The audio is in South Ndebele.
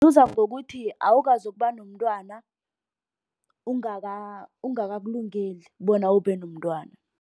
Ngokuthi awukazokuba nomntwana ungakakulungeli bona ube nomntwana.